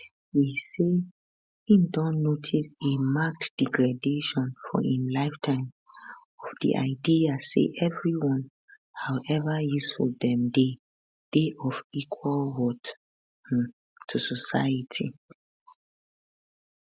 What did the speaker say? e say im don notice a marked degradation for im lifetime of di idea say everyone however useful dem dey dey of equal worth um to society